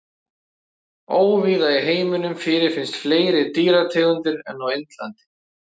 Óvíða í heiminum fyrirfinnast fleiri dýrategundir en á Indlandi.